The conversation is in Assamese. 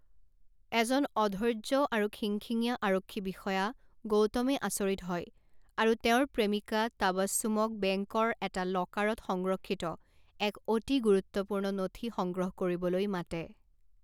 এজন অধৈৰ্য্য আৰু খিংখিঙীয়া আৰক্ষী বিষয়া গৌতমে আচৰিত হয় আৰু তেওঁৰ প্ৰেমিকা টাবাছুমক বেংকৰ এটা লকাৰত সংৰক্ষিত এক অতি গুৰুত্বপূৰ্ণ নথি সংগ্ৰহ কৰিবলৈ মাতে।